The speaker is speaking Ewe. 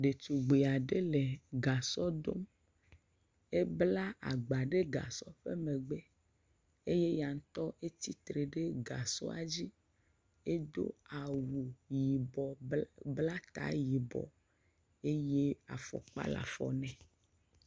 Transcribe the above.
Ɖetugbui aɖe le gasɔ dom, ebla agba ɖe gasɔ megbe eye eya ŋutɔ tsitre ɖe gasɔ dzi eye wodo awu yibɔ bla ta yibɔ eye afɔkpa le afɔ nɛ.